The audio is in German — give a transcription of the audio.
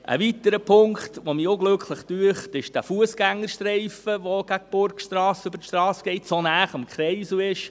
Ein weiterer Punkt, der mich unglücklich dünkt, ist der Fussgängerstreifen, der gegen die Burgstrasse über die Strasse geht und so nah am Kreisel ist.